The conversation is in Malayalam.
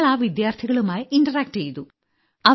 ഞങ്ങൾ ആ വിദ്യാർത്ഥികളുമായി ഇന്ററാക്ട് ചെയ്തു